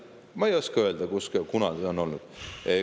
Ma ei oska öelda, kuidas kunagi on olnud.